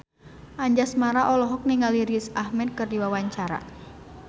Anjasmara olohok ningali Riz Ahmed keur diwawancara